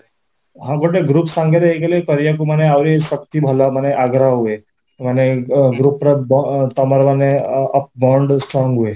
ହଁ, ଗୋଟେ ଗ୍ରୁପ ସାଙ୍ଗରେ ହେଇଥିଲେ କରିବାକୁ ମାନେ ଆହୁରି ଶକ୍ତି ଭଲ ମାନେ ଆଗ୍ରହ ହୁଏ, ମାନେ ଗ୍ରୁପର ତମର ମାନେ bond strong ହୁଏ